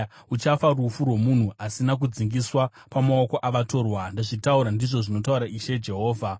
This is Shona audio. Uchafa rufu rwomunhu asina kudzingiswa pamaoko avatorwa. Ndazvitaura, ndizvo zvinotaura Ishe Jehovha.’ ”